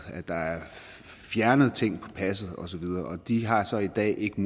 at der er fjernet ting på passet og så videre de har så i dag ikke